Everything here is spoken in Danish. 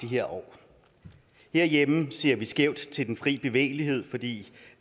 her år herhjemme ser vi skævt til den fri bevægelighed fordi